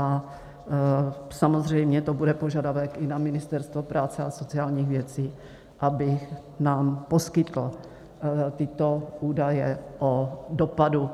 A samozřejmě to bude požadavek i na Ministerstvo práce a sociálních věcí, aby nám poskytlo tyto údaje o dopadu